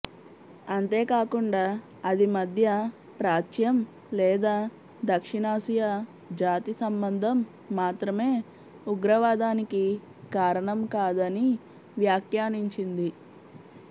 అంతేకాకుండా అది మధ్య ప్రాచ్యం లేదా దక్షిణాసియా జాతి సంబంధం మాత్రమే ఉగ్రవాదానికి కారణం కాదని వ్యాఖ్యానించింది